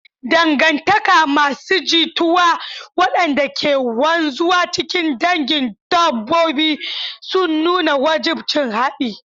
Dangantaka masu jituwa waɗanda ke wanzuwa cikin dangin dabbobi suna nuna wajibcin haɗi.